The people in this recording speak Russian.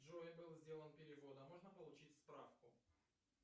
джой был сделан перевод а можно получить справку